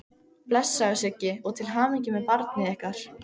Blessaður Siggi, og til hamingju með barnið ykkar.